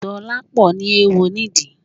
Dolapo ní eéwo nídìí